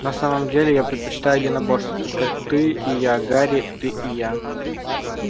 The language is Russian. на самом-то деле я предпочитаю единоборство только ты и я гарри ты и я